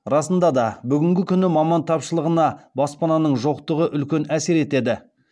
расында да бүгінгі күні маман тапшылығына баспананың жоқтығы үлкен әсер етеді